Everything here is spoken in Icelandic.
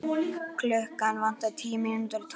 Klukkuna vantaði tíu mínútur í tólf.